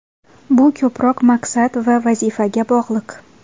Bu ko‘proq maqsad va vazifaga bog‘liq.